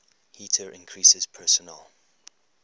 heater increases personal